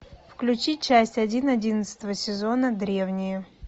включи часть один одиннадцатого сезона древние